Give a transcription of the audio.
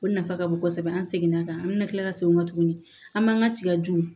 O nafa ka bon kosɛbɛ an seginna ka an bɛna kila ka segin o kan tuguni an b'an ka tigaju